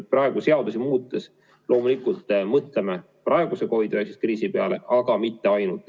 Seadusi muutes me loomulikult mõtleme praeguse COVID-19 kriisi peale, aga mitte ainult.